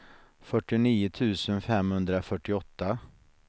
fyrtionio tusen femhundrafyrtioåtta